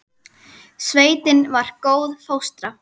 Sveitin var góð fóstra.